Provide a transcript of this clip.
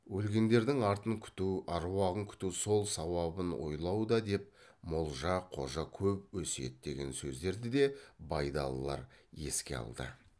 өлгендердің артын күту аруағын күту сол сауабын ойлауда деп молжа қожа көп өсиеттеген сөздерді де байдалылар еске алды